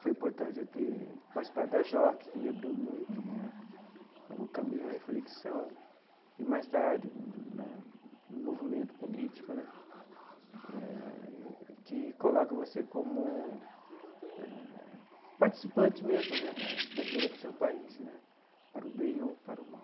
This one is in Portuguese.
Foi importante eu ter participado da JOC, que me abriu muito né a o caminho à reflexão e, mais tarde, na no movimento político né, eh que coloca você como eh participante mesmo né da da vida do seu país né, para o bem ou para o mal.